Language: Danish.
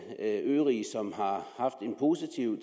positiv